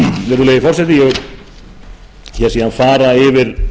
kjördæmum virðulegi forseti ég vil fara yfir